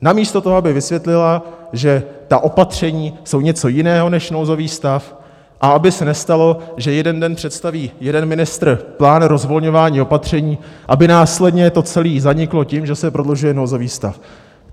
Namísto toho, aby vysvětlila, že ta opatření jsou něco jiného než nouzový stav, a aby se nestalo, že jeden den představí jeden ministr plán rozvolňování opatření, aby následně to celé zaniklo tím, že se prodlužuje nouzový stav.